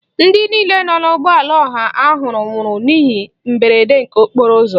Ndị niile nọ n'ụgbọala ọha ahụ nwụrụ n'ihe mberede nke okporo ụzọ.